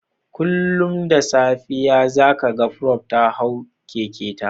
Kullum da safe za ka ga Prof. ta hau kekenta